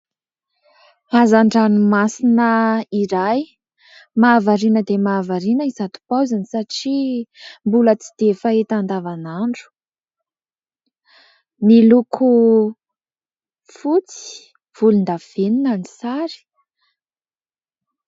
Hazan-dranomasina iray, mahavariana dia mahavariana izato paoziny satria mbola tsy dia fahita andavanandro. Miloko fotsy, volondavenona ny sary.